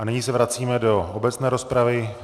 A nyní se vracíme do obecné rozpravy.